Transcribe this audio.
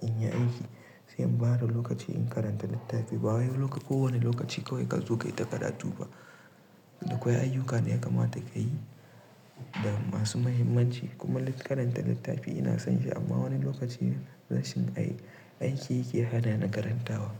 in yi aiki. Sai in ba da lokaci in karanta littafi. Ba wai kowane lokaci kawai ka zo kaita karatu ba. Da akwai ayyuka ne ya kamata ka yi da masu mahimmanci kuma karanta littafi ina son shi amma wani lokaci aiki yake hana na karantawa.